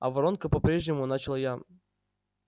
а воронка по-прежнему начал я